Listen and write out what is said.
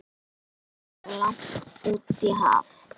Sjúkraflug langt út í haf